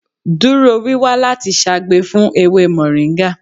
Duro wiwa lati ṣagbe fun ewe moringa!